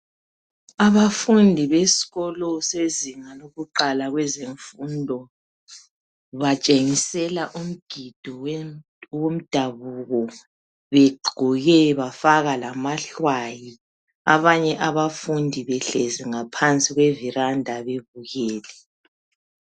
Abafundi besikolo sezinga lokuqala lwezemfundo batshengisela umgido wemdabuko begqoke bafaka lamahlwayi. Abanye abafundi behlezi ngaphansi kweviranda bebukele.